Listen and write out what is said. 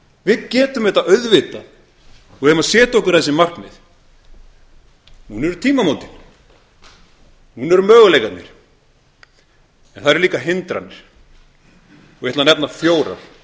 við getum þetta auðvitað og við eigum að setja okkur þessi markmið núna eru tímamótin núna eru möguleikarnir það eru líka hindranir ég ætla að nefna fjórar